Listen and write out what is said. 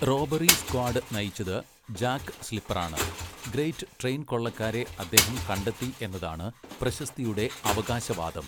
Robbery squad നയിച്ചത് Jack സ്ലിപ്പറാണ്, great train കൊള്ളക്കാരെ അദ്ദേഹം കണ്ടെത്തി എന്നതാണ് പ്രശസ്തിയുടെ അവകാശവാദം.